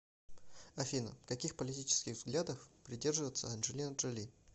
афина каких политических взглядов придерживается анджелина джоли